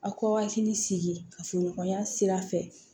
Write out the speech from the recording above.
Aw k'aw hakili sigi ka furu ɲɔgɔnya sira fɛ